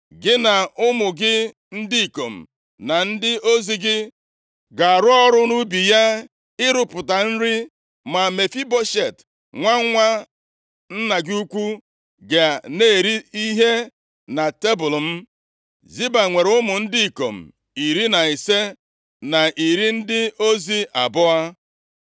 Gị na ụmụ gị ndị ikom na ndị ozi gị ga-arụ ọrụ nʼubi ya ịrụpụta nri. Ma Mefiboshet, nwa nwa nna gị ukwu ga na-eri ihe na tebul m.” Ziba, nwere ụmụ ndị ikom iri na ise, na iri ndị ozi abụọ.